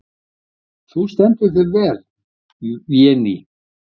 Þú stendur þig vel, Véný!